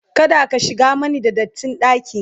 kada ka shigan Mani da datti ɗaki!